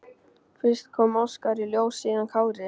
Fyrst kom Óskar í ljós, síðan Kári.